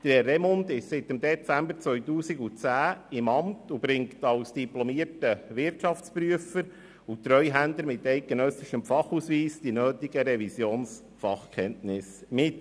Herr Remund ist seit Dezember 2010 im Amt und bringt als diplomierter Wirtschaftsprüfer und Treuhänder mit eidgenössischem Fachausweis die nötigen Revisionsfachkenntnisse mit.